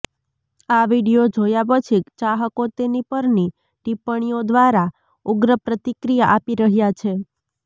આ વિડિઓ જોયા પછી ચાહકો તેની પરની ટિપ્પણીઓ દ્વારા ઉગ્ર પ્રતિક્રિયા આપી રહ્યા છે